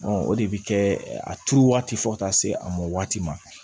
o de bɛ kɛ a turu waati fo ka taa se a mɔ waati ma